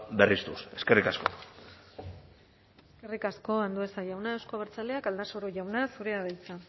berriztuz eskerrik asko eskerrik asko andueza jauna euzko abertzaleak aldasoro jauna zurea da hitza